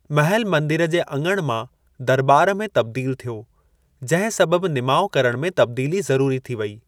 महलु मंदिर जे अङण मां दरॿार में तब्दीलु थियो जंहिं सबबु निमाउ करण में तब्दीली ज़रूरी थी वई।